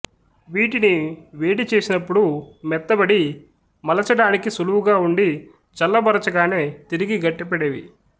వీటిని వేడి చేసినప్పుడు మొత్తబడి మలచడానికి సులువుగా ఉండి చల్లబరచగానే తిరిగి గట్టిపడేవి